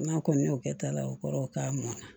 N'a kɔni y'o kɛ ta la o kɔrɔ ye k'a mɔn na